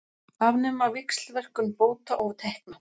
Afnema víxlverkun bóta og tekna